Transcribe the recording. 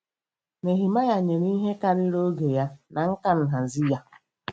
Nehemaya nyere ihe karịrị oge ya na nkà nhazi ya.